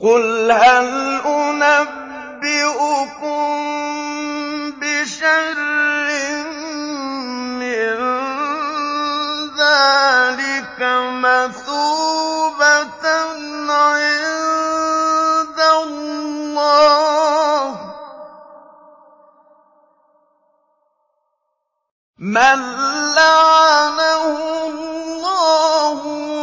قُلْ هَلْ أُنَبِّئُكُم بِشَرٍّ مِّن ذَٰلِكَ مَثُوبَةً عِندَ اللَّهِ ۚ مَن لَّعَنَهُ اللَّهُ